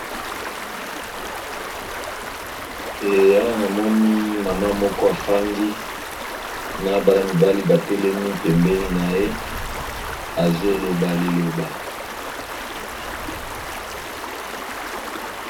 Awa namoni maman moko afandi na bana mibali batelemi pembeni naye azoloba liloba.